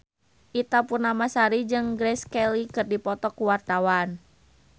Ita Purnamasari jeung Grace Kelly keur dipoto ku wartawan